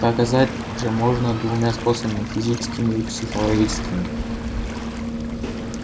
доказать же можно двумя способами физическими и психологическими